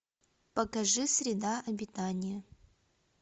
покажи среда обитания